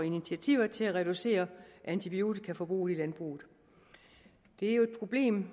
initiativ til at reducere antibiotikaforbruget i landbruget det er jo et problem